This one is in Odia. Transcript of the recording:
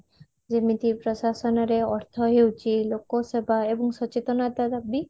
ଯେମିତି ପ୍ରଶାସନ ର ଅର୍ଥ ହେଉଚି ଲୋକ ସେବା ଏବଂ ସଚେତନତା ର ବି